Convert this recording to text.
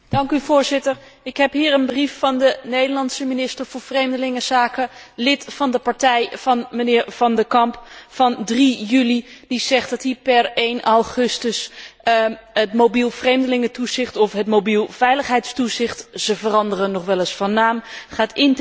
Ik heb hier een brief van de Nederlandse Minister voor Vreemdelingenzaken, lid van de partij van mijnheer Van de Camp, van 3 juli 2012, die zegt dat hij per 1 augustus het mobiel vreemdelingentoezicht of het mobiel veiligheidstoezicht ze veranderen nogal eens van naam gaat intensiveren.